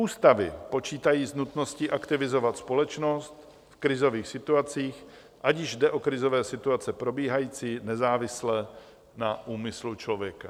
Ústavy počítají s nutností aktivizovat společnost v krizových situacích, ať již jde o krizové situace probíhající nezávisle na úmyslu člověka.